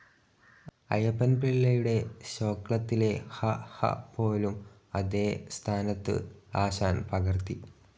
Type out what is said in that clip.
അയ്യപ്പൻ പിള്ളയുടെശ്ലോകത്തിലെ ഹ, ഹ പോലും അതേ സ്ഥാനത്തു ആശാൻ പകർത്തി.